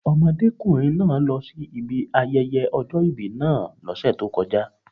Ọmọdékùnrin náà lọsí ibi ayẹyẹ ọjọ́ ìbí náà lọ́sẹ̀ tó kọjá.